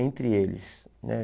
entre eles, né?